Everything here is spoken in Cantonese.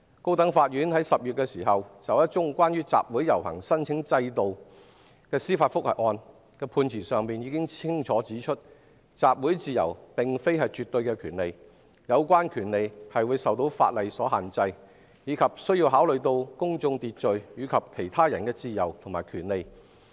高等法院在10月就一宗有關集會遊行申請制度的司法覆核案，已經在判詞中清楚指出，集會自由並非絕對的權利，有關權利受法例所限制，也受制於公眾秩序及其他人自由和權利的考慮。